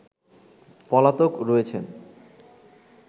পলাতক রয়েছেন